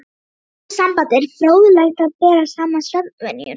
Í þessu sambandi er fróðlegt að bera saman svefnvenjur